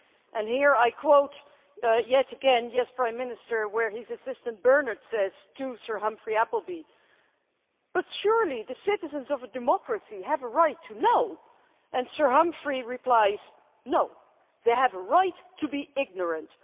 And here I quote yet again Yes, Prime Minister', where his assistant Bernard says to Sir Humphrey Appleby but surely the citizens of a democracy have a right to know', and Sir Humphrey replies no, they have a right to be ignorant.